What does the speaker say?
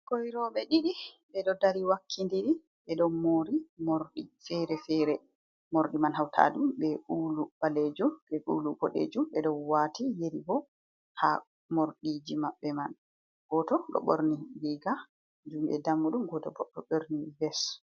Ɓikkoi roɓe ɗiɗi ɓeɗo dari wakki ndiri ɓe ɗo mori morɗi fere-fere, morɗi man hautaɗum be ulu ɓalejum be ulu ɓodejum, ɓeɗo wati yeri bo ha morɗiji maɓɓe man goto ɗo ɓorni riga juɗe dammuɗum, goto bo ɗo borni ves.